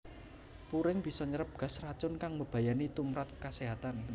Puring bisa nyerep gas racun kang mbebayani tumprap kaséhatan